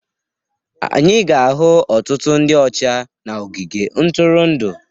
Anyị ga-ahụ ọtụtụ ndị ọcha na ogige ntụrụndụ